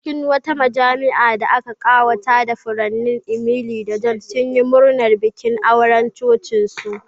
A cikin wata majami'a da aka ƙawata da furanni, Emily da John sunyi murnar bikin auren cocinsu.